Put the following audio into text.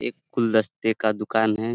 एक गुलदस्ते का दुकान है।